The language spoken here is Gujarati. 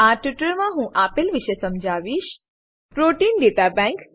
આ ટ્યુટોરીયલમાં હું આપેલ વિશે સમજાવીશ પ્રોટીન દાતા બેન્ક